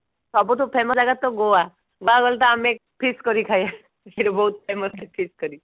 ସବୁଠୁ famous ଜାଗାତ ଗୋଆ ଗୋଆ ଗଲେ ତ ଆମେ fish curry ଖାଏ ଖୁସିରେ ବହୁତ famous fish curry